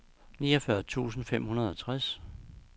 niogfyrre tusind fem hundrede og treogtres